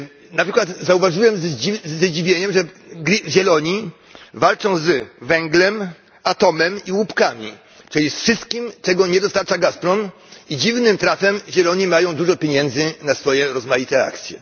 Na przykład zauważyłem ze zdziwieniem, że Zieloni walczą z węglem, atomem i łupkami, czyli z wszystkim, czego nie dostarcza Gazprom, i dziwnym trafem Zieloni mają dużo pieniędzy na swoje rozmaite akcje.